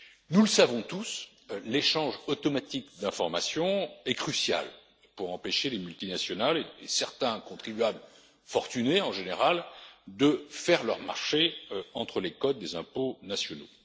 Nous le savons tous, l'échange automatique d'informations est crucial pour empêcher les multinationales et certains contribuables, en général fortunés, de faire leur marché entre les codes des impôts nationaux.